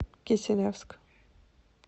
киселевск